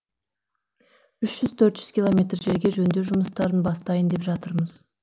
үш жүз төрт жүз километр жерге жөндеу жұмыстарын бастайын деп жатырмыз